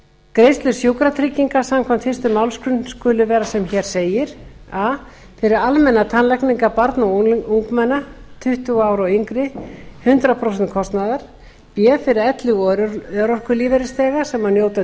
greiðslur sjúkratrygginga samkvæmt fyrstu málsgrein skulu vera sem hér segir a fyrir almennar tannlækningar barna og ungmenna tuttugu ára og yngri hundrað prósent kostnaðar b fyrir elli og örorkulífeyrisþega sem njóta